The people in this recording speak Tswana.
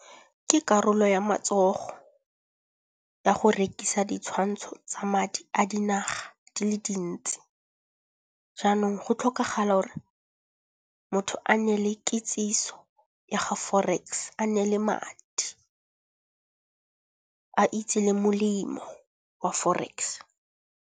Ke karolo ya matsogo ya go rekisa ditshwantsho tsa madi a dinaga di le dintsi. Jaanong go tlhokagala gore motho a nne le kitsiso ya ga forex, a nne le madi a itse le molemo wa forex.